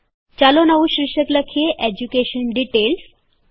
ચાલો નવું શીર્ષક લખીએ એજ્યુકેશન ડીટેઈલ્સ